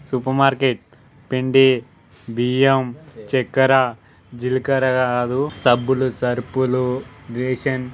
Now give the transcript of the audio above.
super market పిండి బియ్యం చెక్కర జీలకర్ర కాదు సబ్బులు సరుపులు బేషన్స్ --